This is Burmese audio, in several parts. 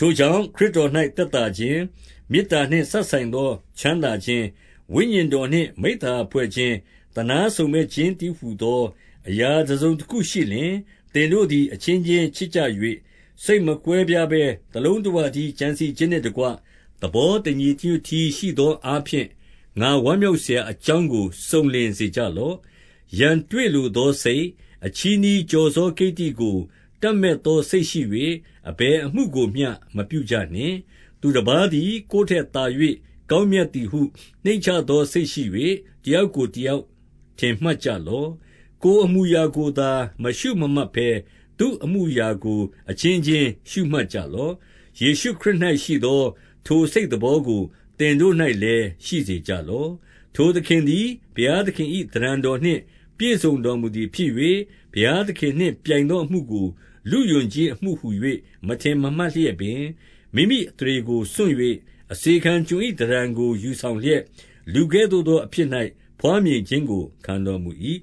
ထိုကြောင့်ခရစ်တော်၌သက်သာခြင်း၊ မေတ္တာနှင့်စပ်ဆိုင်သော ချမ်းသာခြင်း၊ ဝိညာဉ်တော်နှင့် မိဿ ဟာယဖွဲ့ခြင်း၊ သနားစုံမက်ခြင်းတည်းဟူသောအရာ တစုံတခုရှိလျှင်၊ 2 သင်တို့သည် အချင်းချင်းချစ်ကြ၍၊ စိတ်မကွဲပြားဘဲ တလုံးတဝတည်း ကြံစည်ခြင်းနှင့်တကွ၊ သဘော တညီတညွတ်တည်းရှိသောအားဖြင့်၊ ငါဝမ်းမြောက်စရာအကြောင်းကို စုံလင်စေကြလော့။ 3 ရန်တွေ့လိုသောစိတ်၊ အချည်းနှီး ကျော်စောကိတ္တိကို တပ်မက်သောစိတ်ရှိ၍ အဘယ်အမှုကို မပြုကြ နှင့်။ သူတပါးသည် ကိုယ်ထက်သာ၍ ကောင်းမြတ်သည်ဟု နှိမ့်ချသော စိတ်ရှိ၍ တယောက်ကိုတယောက် ထင်မှတ်ကြလော့။ 4 ကိုယ်အမှုအရာကိုသာ မရှုမမှတ်ဘဲ၊ သူ့အမှုအရာကို အချင်းချင်းရှုမှတ်ကြလော့။ 5 ယေရှုခရစ်၌ရှိသော ထိုစိတ်သဘောကို သင်တို့၌လည်း ရှိစေကြလော့။ 6 ထိုသခင်သည် ဘုရားသခင်၏ သဏ္ဌာန်တော်နှင့် ပြည့်စုံတော်မူသည်ဖြစ်၍၊ ဘုရားသခင်နှင့် ပြိုင်သောအမှုကို လုယူခြင်းအမှုဟူ၍ မထင်မမှတ်လျက်ပင်၊ 7 မိမိအသရေကိုစွန့်၍ အစေခံကျွန်၏သဏ္ဌာန်ကို ယူဆောင်လျက်၊ လူကဲ့သို့သောအဖြစ်၌ ဘွားမြင်ခြင်းကို ခံတော်မူ၏။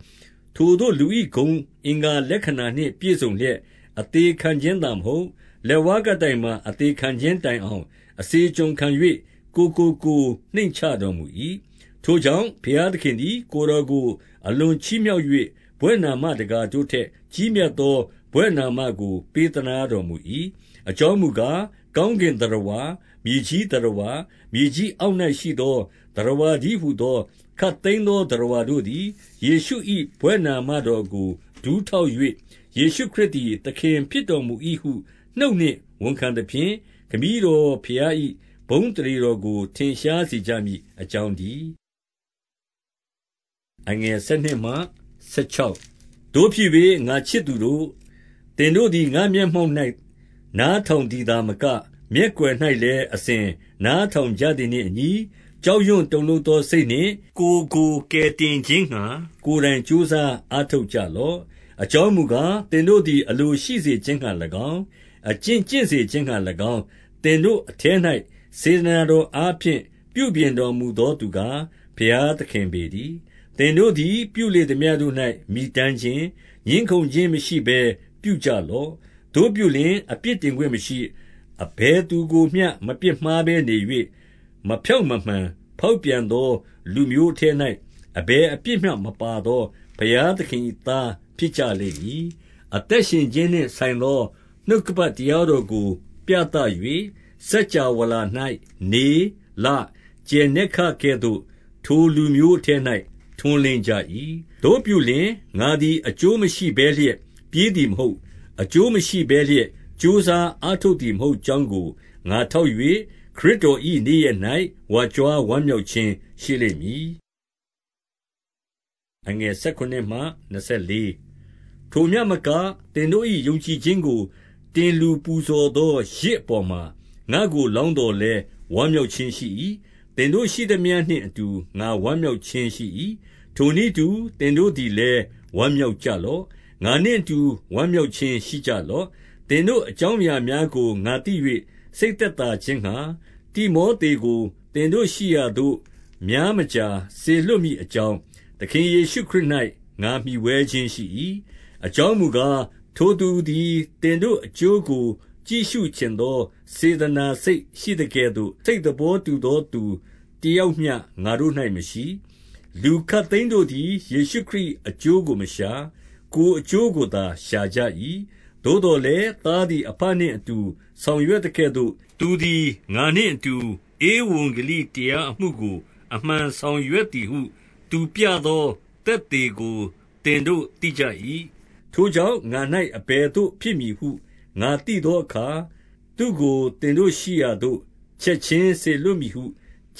8 ထိုသို့ လူ၏ဂုဏ်အင်္ဂါလက္ခဏာနှင့် ပြည့်စုံလျက်၊ အသေခံခြင်းသာမဟုတ်၊ လက်ဝါးကပ်တိုင်မှာ အသေခံခြင်းတိုင်အောင် အစေကျွန်ခံ၍ ကိုယ်ကိုကိုယ်နှိမ့်ချတော်မူ၏။ 9 ထို့ကြောင့် ဘုရားသခင်သည် ကိုယ်တော်ကိုအလွန်ချီးမြှောက်၍ ဘွဲ့နာမတကာတို့ထက် ကြီးမြတ် သော ဘွဲ့နာမကို ပေးသနားတော်မူ၏။ 10 အကြောင်းမူကား၊ ကောင်းကင်သတ္တဝါ၊ မြေကြီးသတ္တဝါ၊ မြေကြီးအောက်၌ရှိသော သတ္တဝါ တည်းဟူသော ခပ်သိမ်းသော သတ္တဝါတို့သည် ယေရှု၏ဘွဲ့နာမတော်ကို ဒူးထောက်၍၊ 11 ယေရှုခရစ်သည် သခင်ဖြစ်တော်မူ၏ဟု နှုတ်နှင့်ဝန်ခံသဖြင့်၊ ခမည်းတော်ဘုရား၏ ဘုန်းအသရေ တော်ကို ထင်ရှားစေကြမည်အကြောင်းတည်း။ 12 သို့ဖြစ်၍ ငါ့ချစ်သူတို့၊ သင်တို့သည် ငါ့မျက်မှောက်၌ နားထောင်သည်သာမက၊ မျက်ကွယ်၌လည်း အစဉ်နားထောင်ကြသည်နှင့်အညီ၊ ကြောက်ရွံ့တုန်လှုပ်သောစိတ်နှင့်၊ ကိုယ်ကို ကယ်တင်ခြင်းငှါ ကိုယ်တိုင် ကြိုးစားအားထုတ်ကြလော့။ 13 အကြောင်းမူကား၊ သင်တို့သည် အလိုရှိစေခြင်းငှါ၎င်း၊ အကျင့်ကျင့်စေခြင်းငှါ၎င်း၊ သင်တို့အထဲ၌ စေတနာတော်အားဖြင့် ပြုပြင်တော်မူသောသူကား ဘုရားသခင်ပေတည်း။ 14 သင်တို့သည် ပြုလေသမျှတို့၌ မြည်တမ်းခြင်း၊ ငြင်းခုံခြင်းမရှိဘဲ ပြုကြလော့။ 15 သို့ပြုလျှင် အပြစ်တင်ခွင့်မရှိ၊ အဘယ်သူကိုမျှ မပြစ်မှားဘဲနေ၍၊ 16 မဖြောင့်မမှန် ဖောက်ပြန်သောလူမျိုးအထဲ၌ အဘယ်အပြစ်မျှမပါသော ဘုရားသခင်၏ သားဖြစ်ကြ လိမ့်မည်။ အသက်ရှင်ခြင်းနှင့်ဆိုင်သော နှုတ်ကပတ် တရားတော်ကို ပြသ၍၊ စကြဝဠာ၌ နေ၊ လ၊ ကြယ် နက္ခတ်ကဲ့သို့ ထိုလူမျိုးအထဲ၌ ထွန်းလင်းကြ၏။ သို့ပြုလျှင် ငါသည် အကျိုးမရှိဘဲလျက် ပြေးသည်မဟုတ်၊ အကျိုး မရှိဘဲလျက် ကြိုးစားအားထုတ်သည်မဟုတ်ကြောင်းကို ငါထောက်၍ ခရစ်တော်၏နေ့ရက်၌ ဝါကြွားဝမ်းမြောက် ခြင်းရှိလိမ့်မည်။ 17 ထိုမျှမက၊ သင်တို့၏ယုံကြည်ခြင်းကို တင်လှူ ပူဇော်သော ယဇ်အပေါ်မှာ ငါ့ကိုလောင်းသော်လည်း ဝမ်းမြောက်ခြင်းရှိ၏။ သင်တို့ရှိသမျှနှင့်အတူ ငါဝမ်းမြောက်ခြင်းရှိ၏။ 18 ထိုနည်းတူ သင်တို့သည်လည်း ဝမ်းမြောက်ကြလော့။ ငါနှင့်အတူ ဝမ်းမြောက်ခြင်း ရှိကြလော့။ 19 သင်တို့အကြောင်းအရာများကို ငါသိ၍ စိတ်သက်သာခြင်းငှါ၊ တိမောသေကို သင်တို့ရှိရသို့ များ မကြာ စေလွှတ်မည်အကြောင်း၊ သခင်ယေရှုခရစ်၌ ငါမှီဝဲခြင်းရှိ၏။ 20 အကြောင်းမူကား၊ ထိုသူသည် သင်တို့အကျိုးကို ကြည့်ရှုချင်သော စေတနာစိတ်ရှိသကဲ့သို့ စိတ်သဘောတူ သော သူတယောက်မျှ ငါတို့၌မရှိ။ 21 လူခပ်သိမ်းတို့သည် ယေရှုခရစ်၏အကျိုးကို မရှာ၊ ကိုယ်အကျိုးကိုသာ ရှာကြ၏။ 22 သို့သော်လည်း သားသည်အဘနှင့်အတူ ဆောင်ရွက်သကဲ့သို့၊ သူသည်ငါနှင့်အတူ ဧဝံဂေလိတရားအမှုကို အမှန်ဆောင်ရွက်သည်ဟု သူပြသောသက်သေကို သင်တို့ သိကြ၏။ 23 ထိုကြောင့် ငါ၌အဘယ်သို့ဖြစ်မည်ဟု ငါသိ သောအခါ၊ သူ့ကို သင်တို့ရှိရာသို့ ချက်ခြင်းစေလွှတ်မည် ဟု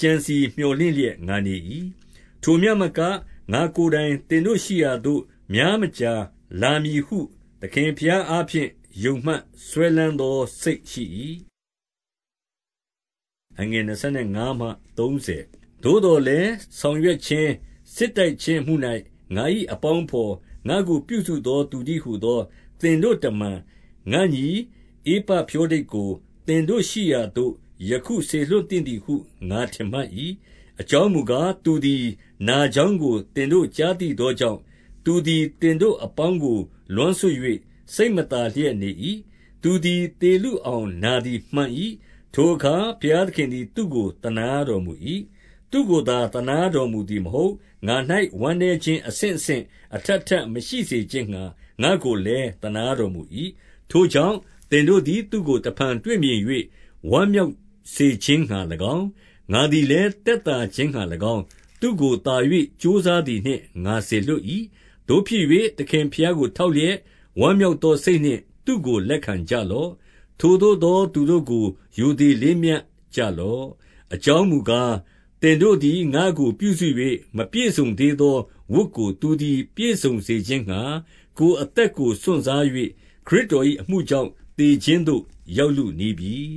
ကြံစည်မြော်လင့်လျက် ငါနေ၏။ 24 ထိုမျှမက၊ ငါ့ကိုယ်တိုင် သင်တို့ရှိရာသို့ များမကြာလာမည်ဟု သခင်ဘုရားအားဖြင့် ယုံမှတ်စွဲ လမ်းသောစိတ်ရှိ၏။ 25 သို့သော်လည်း ဆောင်ရွက်ခြင်း၊ စစ်တိုက်ခြင်းအမှု၌ ငါ၏အပေါင်းအဘော်၊ ငါ့ကိုပြုစုသော သူတည်း ဟူသော သင်တို့တမန်၊ ငါ့ညီ ဧပဖြောဒိတ်ကို သင်တို့ရှိရာသို့ ယခုစေလွှတ်သင့်သည်ဟု ငါထင်မှတ်၏။ 26 အကြောင်းမူကား၊ သူသည် နာကြောင်းကို သင်တို့ကြားသိသောကြောင့်၊ သူသည် သင်တို့အပေါင်းကို လွမ်းဆွတ်၍ စိတ်မသာလျက်နေ၏။ 27 သူသည် သေလုအောင် နာသည်မှန်၏။ ထိုအခါ ဘုရားသခင်သည် သူ့ကို သနားတော်မူ၏။ သူ့ကိုသာ သနားတော်မူသည်မဟုတ်။ ငါ့၌ ဝမ်းနည်းခြင်းအဆင့်ဆင့် အထပ်ထပ်မရှိစေခြင်းငှါ၊ ငါ့ကိုလည်း သနားတော်မူ၏။ 28 ထိုကြောင့် သင်တို့သည် သူ့ကိုတဖန် တွေ့မြင်၍ ဝမ်းမြောက်စေခြင်းငှါ၎င်း၊ ငါသည်လည်း သက်သာ ခြင်းငှါ၎င်း၊ သူ့ကို သာ၍ကြိုးစားသည်နှင့် ငါစေလွှတ်၏။ 29 သို့ဖြစ်၍ သခင်ဘုရားကို ထောက်လျက်၊ ဝမ်းမြောက်သောစိတ်နှင့် သူ့ကိုလက်ခံကြလော့။ ထိုသို့ သောသူတို့ကို ရိုသေလေးမြတ်ကြလော့။ 30 အကြောင်းမူကား၊ သင်တို့သည် ငါ့ကိုပြုစု၍ မပြည့်စုံသေးသောဝတ်ကို သူသည် ပြည့်စုံခြင်းငှါ၊ ကိုယ်အသက်ကို စွန့်စား၍ ခရစ်တော်၏အမှုကြောင့် သေခြင်းသို့ ရောက်လုနီးပြီ